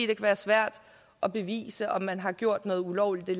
kan være svært at bevise om man har gjort noget ulovligt i